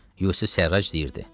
Yusif Sərrac deyirdi.